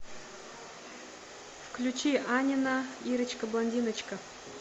включи анина ирочка блондиночка